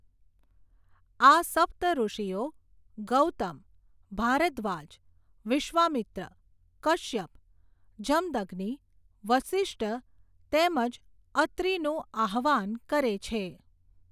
આ સપ્ત ઋષિઓ ગૌતમ, ભારદ્વાજ, વિશ્વામિત્ર, કશ્યપ, જમદગ્નિ વશિષ્ટ તેમજ અત્રિનું આહવાન કરે છે.